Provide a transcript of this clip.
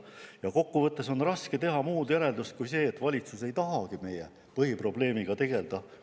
Ja kokku võttes on raske teha muud järeldust kui see, et valitsus ei tahagi meie põhiprobleemiga tegeleda.